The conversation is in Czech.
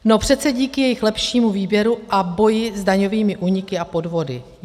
No přece díky jejich lepšímu výběru a boji s daňovými úniky a podvody.